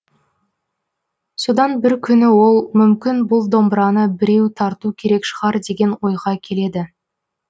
содан бір күні ол мүмкін бұл домбыраны біреу тарту керек шығар деген ойға келеді